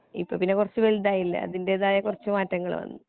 ഇപ്പൊ പിന്നെ കുറച്ചു വലുതായില്ലേ അതിന്റെതായ കുറച്ചു മാറ്റങ്ങൾ വന്ന്